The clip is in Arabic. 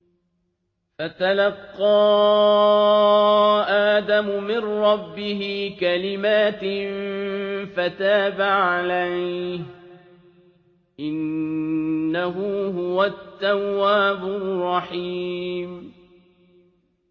فَتَلَقَّىٰ آدَمُ مِن رَّبِّهِ كَلِمَاتٍ فَتَابَ عَلَيْهِ ۚ إِنَّهُ هُوَ التَّوَّابُ الرَّحِيمُ